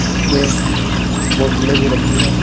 इस पे बोतलें भी रखी है।